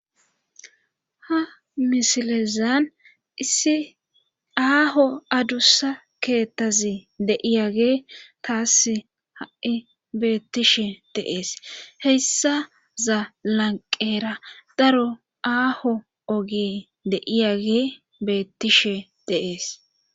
ha misilezan issi aaho adussa keettazi deiyage taasi ha7i beettishe deees heyssa zaa lanqeera daro aaho ogi deiyage beettishe de'ees